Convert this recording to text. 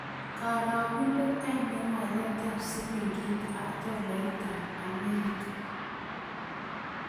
Karagunet ainon waletap silingit ak tolaiitap Amerika